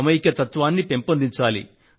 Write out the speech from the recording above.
సమైక్యతత్వాన్ని పెంపొందించాలి